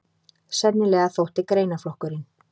Sennilega þótti greinaflokkurinn